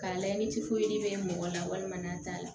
K'a layɛ ni bɛ mɔgɔ la walima n'a t'a la